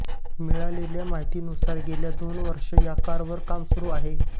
मिळालेल्या माहितीनुसार गेली दोन वर्षे या कारवर काम सुरू आहे